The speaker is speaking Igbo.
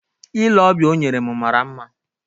Ile ọbịa o nyere m mara mma